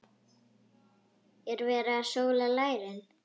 Er verið að sóla lærin?